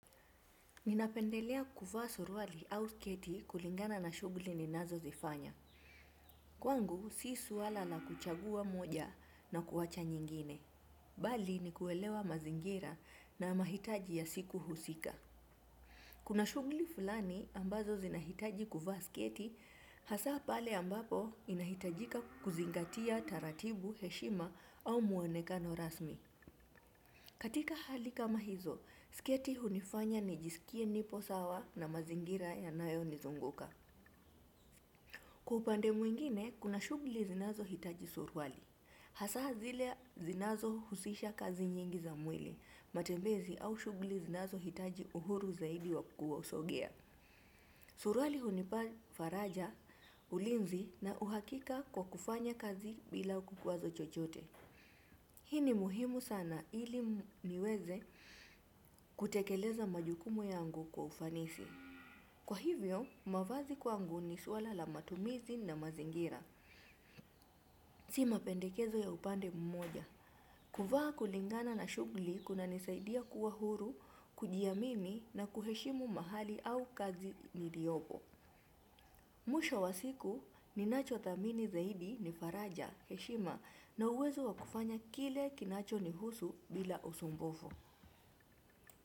Ninapendelea kuvaa soruali au sketi kulingana na shugli ninazo zifanya. Kwangu, si suwala la kuchagua moja na kuwacha nyingine. Bali, ni kuwelewa mazingira na mahitaji ya siku husika. Kuna shugli fulani ambazo zinahitaji kuvaa sketi, hasaa pale ambapo inahitajika kuzingatia taratibu, heshima au muonekano rasmi. Katika hali kama hizo, siketi hunifanya nijisikie nipo sawa na mazingira yanayo nizunguka. Kwa upande mwingine, kuna shugli zinazo hitaji surwali. Hasaa zile zinazo husisha kazi nyingi za mwili, matembezi au shugli zinazo hitaji uhuru zaidi wa kukua usogia. Surwali hunipa faraja, ulinzi na uhakika kwa kufanya kazi bila kukuwazo chochote. Hii ni muhimu sana ili niweze kutekeleza majukumu yangu kwa ufanisi. Kwa hivyo, mavazi kwangu ni suala la matumizi na mazingira. Si mapendekezo ya upande mmoja. Kuvaa kulingana na shugli kuna nisaidia kuwa huru, kujiamini na kuheshimu mahali au kazi niliobo. Musho wa siku ninacho thamini zaidi ni Faraja, Heshima na uwezo wa kufanya kile kinacho ni husu bila usumbufu.